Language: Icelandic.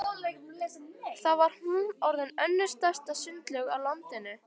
Þá var hún orðin önnur stærsta sundlaug á landinu.